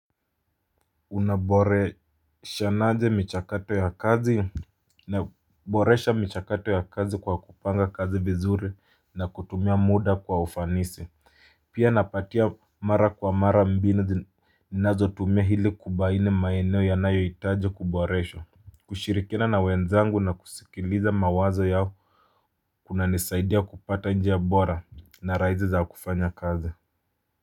Unaboreshanaje michakato ya kazi naboresha michakato ya kazi kwa kupanga kazi vizuri na kutumia muda kwa ufanisi pia napatia mara kwa mara mbinu zinazotumia hili kubaine maeneo yanayohitaji kuboreshwa kushirikiana na wenzangu na kusikiliza mawazo yao kunanisaidia kupata njia bora na raizi za kufanya kazi.